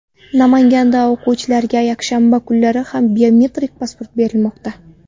Namanganda o‘quvchilarga yakshanba kunlari ham biometrik pasport berilmoqda.